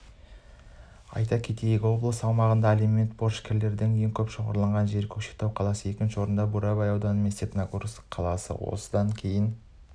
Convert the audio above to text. айта кетейік облыс аумағындағы алимент борышкерлерінің ең көп шоғырланған жері көкшетау қаласы екінші орында бурабай ауданы мен степногорск қаласы одан кейінгі